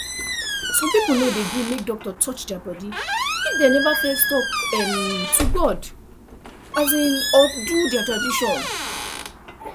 some people no dey gree make doctor touch their body if dem never first talk um to god um or do their tradition